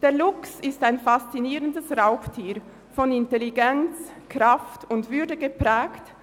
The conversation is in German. Der Luchs ist ein faszinierendes Raubtier, von Intelligenz, Kraft und Würde geprägt.